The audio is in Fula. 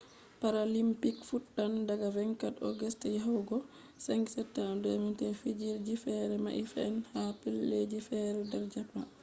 paralympics fuɗɗan daga 24 august yahugo 5 september 2021. fijirde ji fere mai fe’an ha pellel ji fere der japan